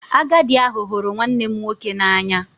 Agadi ahu huru nwannem nwoke n'anya